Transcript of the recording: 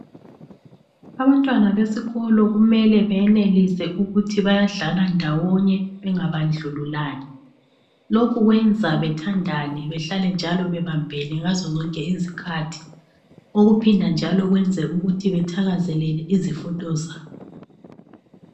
Abantwana besikolo kumele benelise ukuthi bayadlala ndawonye bengabandlululani. Lokhu kwenza bethandane behlale njalo bebambene ngazo zonke izikhathi. Okuphinda njalo kwenze ukuthi bethakazelele izifundo zabo.